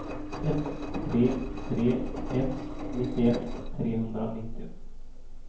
ett tre tre ett nittioett trehundranittio